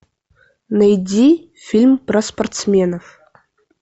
найди фильм про спортсменов